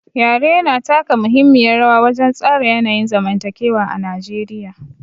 Yare yana taka muhimmiyar rawa wajen tsara yanayin zamantakewa a Najeriya.